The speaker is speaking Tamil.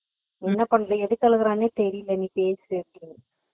என்ன பண்ண எதுக்கு அழுகுரான்னே தெரியல நீ பேசு அப்படின்னாங்க